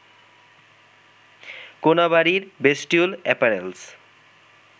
কোনাবাড়ির bestwool apparels